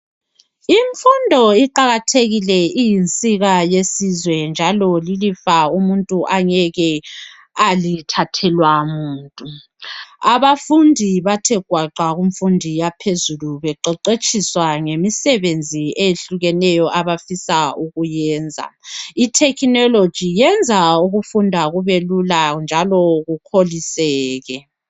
Imfundo iqakathekile iyinsika yesizwe njalo lilifa umuntu angeke alithathelwa muntu. Abafundi bathe gwaqa kumfundo yaphezulu beqeqetshiswa ngemisebenzi eyehlukeneyo abafisa ukuyenza. I technology yenza ukufunda kubelula njalo